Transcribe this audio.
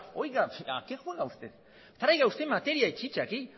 oiga a qué juega usted traiga usted materia y chicha aquí